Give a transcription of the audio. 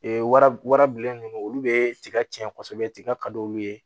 Ee wara wara bilen ninnu olu bɛ tiga tiɲɛ kosɛbɛ tiga ka d'olu ye